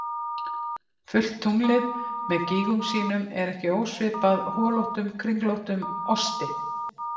Fullt tunglið með gígum sínum er ekki ósvipað holóttum, kringlóttum osti.